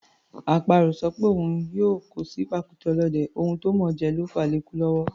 Àparò ò sọ pé òun yóò kó sí pàkúté ọ̀lọ́dẹ, ohun tó mọ̀ọ́ jẹ ló fàá lékú lọ́wọ́.